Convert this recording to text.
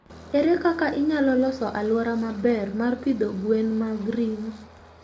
Ere kaka inyalo loso alwora maber mar pidho gwen mag ringo?